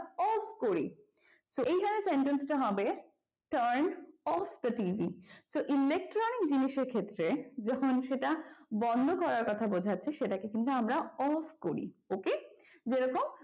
off করি তো এইখানে sentence টা হবে turn off the TV তো electronic জিনিসের ক্ষেত্রে যখন সেটা বন্ধ করার কথা বোঝাচ্ছে সেটাকে কিন্তু আমরা off করি OK? যেরকম,